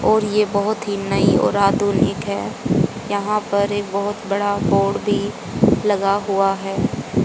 और ये बहुत ही नई और आधुनिक है यहां पर एक बहुत बड़ा बोर्ड भी लगा हुआ हैं।